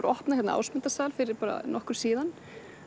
opna hérna Ásmundarsal fyrir nokkru síðan